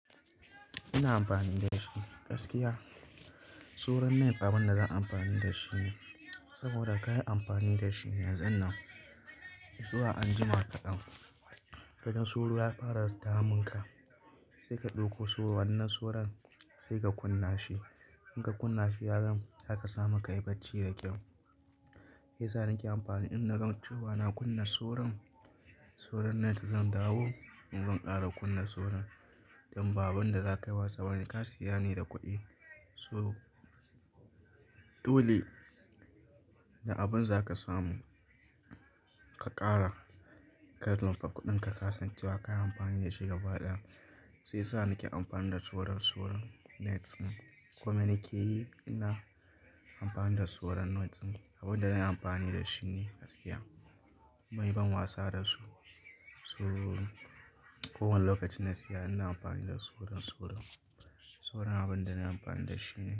Ina amfani da shi gaskiya. Suran net tsaban da zan amfani da shi ne, saboda ka yi amfani da shi yanzon nan. Zuw anjima kaɗan, ka gan suru ya fara damun ka sai ka ɗauko suran wannan suran sai ka kunna shi. In ka kunna shi yanzu, zaka samu ka yi bacci da kyau. Ya sa nake amfani, in na ran cewa na kunna suran, suran net zan dawo. Zan ƙara kunna suran dan babin da zakayi wasa wani ka siya ne da kuɗi. So dole da abin zaka samu ka ƙara karlin fa kuɗin ka ka san cewa ka yi amfani da shi gaba ɗaya. Sai sa nake amfani da tsoron suran net. Kuma ina ke yi? Ina amfani da suran net, abin da nayi amfani da shi ne gaskiya. Mai ban wasa da su. So kowane lokacin na siya ina amfani da suran suran. Suran abin da nayi amfani da shi ne.